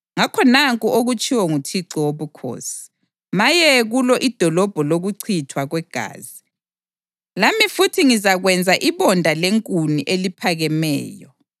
Ngakho nanku okutshiwo nguThixo Wobukhosi: Maye kulo idolobho lokuchithwa kwegazi! Lami futhi, ngizakwenza ibonda lenkuni eliphakemeyo.